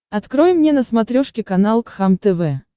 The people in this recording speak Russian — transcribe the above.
открой мне на смотрешке канал кхлм тв